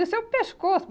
Isso é o pescoço.